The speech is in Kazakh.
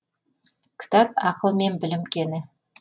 кітап ақыл мен білім кені